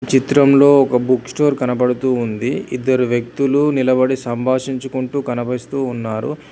చిత్రంలో ఒక book store కనబడుతూ ఉంది ఇద్దరు వ్యక్తులు నిలబడి సంభాషించుకుంటూ కనిపిస్తూ ఉన్నారు.